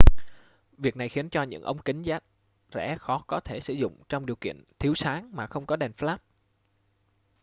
việc này khiến cho những ống kính giá rẻ khó có thể sử dụng trong điều kiện thiếu sáng mà không có đèn flash